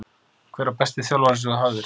Hver var besti þjálfarinn sem þú hafðir?